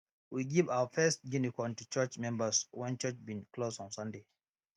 we give our first guinea corn to church members when church bin close on sunday